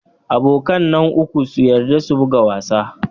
Abokan nan uku sun yarda su buga wasa.